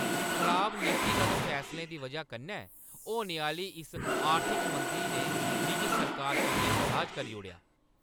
खराब नीतिगत फैसलें दी वजह कन्नै होने आह्‌ली इस आर्थिक मंदी ने मिगी सरकार कन्नै नराज करी ओड़ेआ।